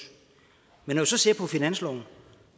men når man så ser på finansloven